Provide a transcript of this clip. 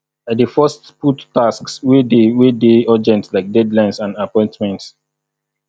i dey first put tasks wey dey wey dey urgent like deadlines and appointments